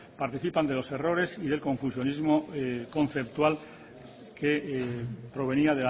participan de los errores y el confusionismo conceptual que provenía